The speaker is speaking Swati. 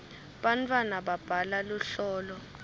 bantwana babhala luhlolo